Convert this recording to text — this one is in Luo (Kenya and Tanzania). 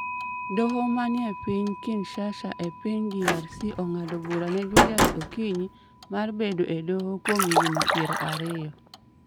Doho ma ni e piny Kinshasa e piny DRC ong'ado bura ne Julius Okinyi mar bedo e doho kuom higni piero ariyo